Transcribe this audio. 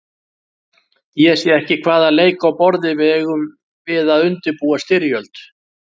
Ég sé ekki hvaða leik á borði við eigum við að undirbúa styrjöld.